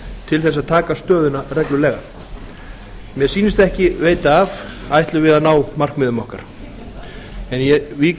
til að taka stöðuna reglulega mér sýnist ekki veita af ætlum við að ná markmiðum okkar en ég vík nú að